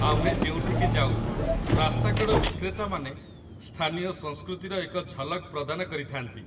ଆମେ ଯେଉଁଠିକି ଯାଉ, ରାସ୍ତାକଡ଼ ବିକ୍ରେତାମାନେ ସ୍ଥାନୀୟ ସଂସ୍କୃତିର ଏକ ଝଲକ ପ୍ରଦାନ କରିଥାନ୍ତି।